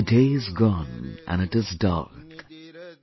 The day is gone and it is dark,